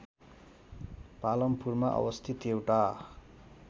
पालमपुरमा अवस्थित एउटा